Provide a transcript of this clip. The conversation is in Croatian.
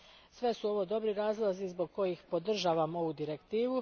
Sve su ovo dobri razlozi zbog kojih podržavam ovu Direktivu.